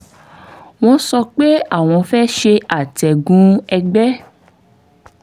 wọ́n sọ pé àwọn fẹ́ ṣe àtẹ̀gùn ẹ̀gbé